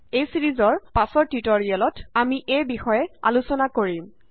এই ছিৰিজৰ পাচৰ টিউটৰিয়েলত আমি এই বিষয়ে আলোচনা কৰিম